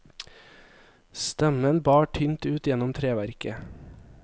Stemmen bar tynt ut gjennom treverket.